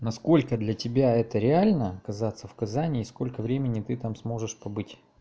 насколько для тебя это реально оказаться в казани и сколько времени ты там сможешь побыть